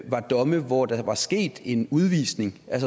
var domme hvor der var sket en udvisning